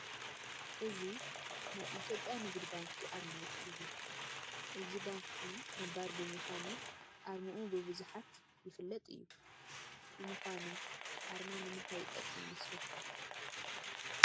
እዚ ናይ ኢትዮጵያ ንግዲ ባንኪ ኣርማ እዩ፡፡ እዚ ባንኪ ነባር ብምዃኑ ኣርምኡ ብብዙሓይ ይፍለጥ እዩ፡፡ ንምዃኑ ኣርማ ንምንታይ ይጠቅም ይመስለኩም?